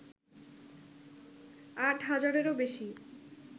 আট হাজারেরও বেশী